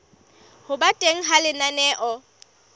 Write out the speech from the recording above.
ho ba teng ha lenaneo